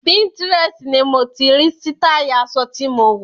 Pinterest ni mo ti rí sítáì aṣọ tí mo wọ̀.